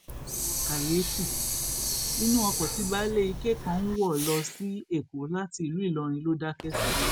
kàyééfì inú ọkọ tí baálé ike kan ń wọ lọ sí èkó láti ìlú ìlọrin ló dákẹ sí